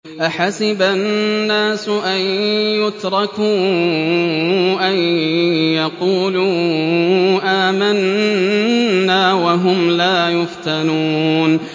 أَحَسِبَ النَّاسُ أَن يُتْرَكُوا أَن يَقُولُوا آمَنَّا وَهُمْ لَا يُفْتَنُونَ